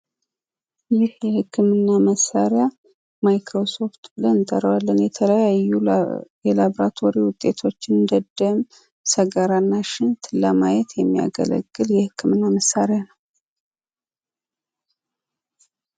ይህ የህክምና መሳሪያ ማይክሮስኮፕ ሲሆን፤ የተለያዩ የላቦራቶሪ ውጤቶችን ማለትም የሺንት፣ የሰገራና የደም ውጤቶችን ለማየት የሚያገለግል የህክምና መሳሪያ ነው።